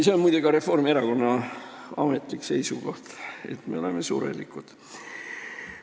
See on, muide, ka Reformierakonna ametlik seisukoht, et me oleme surelikud.